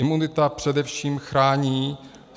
Imunita především chrání